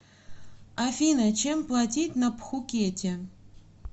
афина чем платить на пхукете